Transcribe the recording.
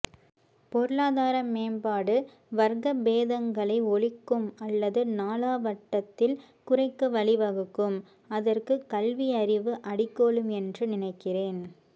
பொருளாதார மேம்பாடு வர்க்கபேதங்களை ஒழிக்கும் அல்லது நாளாவட்டத்தில் குறைக்க வழிவகுக்கும் அதற்கு கல்வி அறிவு அடிகோலும் என்று நினைக்கிறேன்